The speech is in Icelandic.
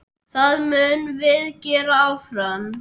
Það munum við gera áfram.